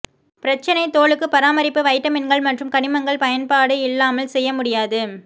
பிரச்சனை தோலுக்கு பராமரிப்பு வைட்டமின்கள் மற்றும் கனிமங்கள் பயன்பாடு இல்லாமல் செய்ய முடியாது